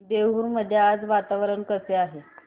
देऊर मध्ये आज वातावरण कसे आहे